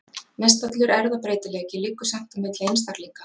Mestallur erfðabreytileiki liggur samt á milli einstaklinga.